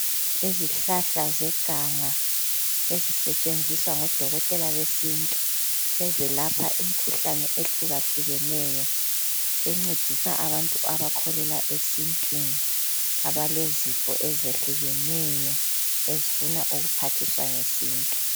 Izihlahla zeganga ezisetshenziswa ngodokotela besintu ezelapha imikhuhlane ehlukahlukeneyo encedisa abantu abakholelwa esintwini abalezifo ezitshiyeneyo ezifuna ukuphathiswa ngesintu.